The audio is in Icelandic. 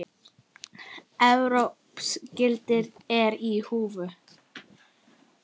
Evrópsk gildi eru í húfi.